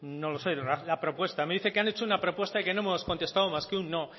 no lo sé la propuesta me dice que han hecho una propuesta y que no hemos contestado más que un no